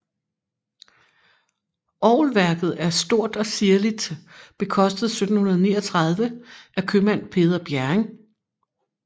Orgelværket er stort og ziirligt bekostet 1739 af købmand Peder Bjerring